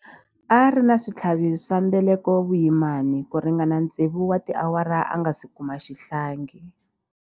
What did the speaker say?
A ri na switlhavi swa mbeleko vuyimani ku ringana tsevu wa tiawara a nga si kuma xihlangi.